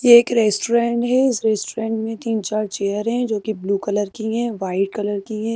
ये एक रेस्टोरेंट है इस रेस्टोरेंट में तीन चार चेयर है जोकि ब्लू कलर की है वाइट कलर की है।